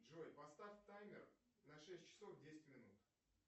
джой поставь таймер на шесть часов десять минут